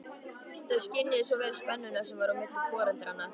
Þau skynjuðu svo vel spennuna sem var á milli foreldranna.